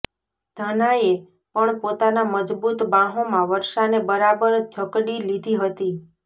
ઘનાએ પણ પોતાના મજબુત બાંહોમાં વર્ષાને બરાબર ઝકડી લીધી હતી